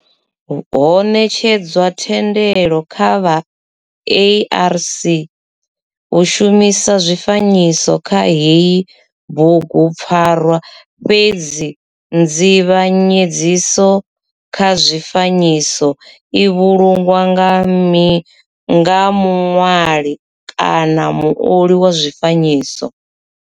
Ho netshedzwa thendelo kha vha ARC u shumisa zwifanyiso kha heyi bugupfarwa fhedzi nzivhanyedziso kha zwifanyiso i vhulungwa nga muṋwali kana muoli wa zwifanyiso.